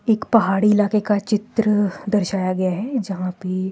एक पहाड़ी इलाके का चित्र दर्शाया गया है जहां पे--